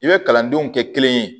I bɛ kalandenw kɛ kelen ye